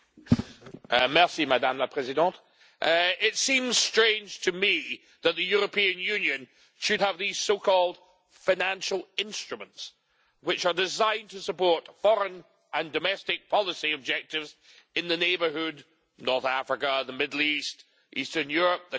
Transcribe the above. Madam President, it seems strange to me that the European Union should have these so called financial instruments' which are designed to support foreign and domestic policy objectives in the neighbourhood North Africa, the Middle East, Eastern Europe, the Caucasus, etc.